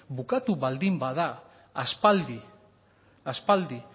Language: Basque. bukatu baldin bada aspaldi aspaldi